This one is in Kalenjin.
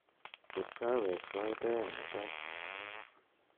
chop kaaweg sait oeng' mutai